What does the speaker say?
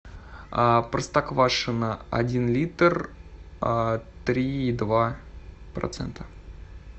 простоквашино один литр три и два процента